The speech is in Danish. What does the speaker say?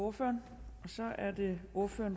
og fyrre år